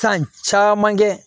San caman kɛ